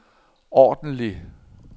ordentlig